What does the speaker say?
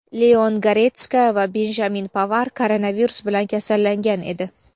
Leon Goretska va Benjamin Pavar koronavirus bilan kasallangan edi.